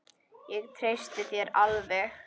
Ég treysti þér alveg!